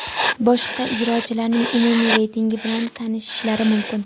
boshqa ijrochilarning umumiy reytingi bilan tanishishlari mumkin.